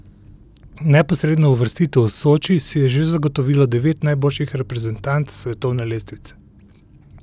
Neposredno uvrstitev v Soči si je že zagotovilo devet najboljših reprezentanc s svetovne lestvice.